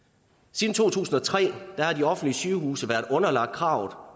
siden to tusind og tre har de offentlige sygehuse være underlagt kravet